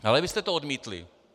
Ale vy jste to odmítli.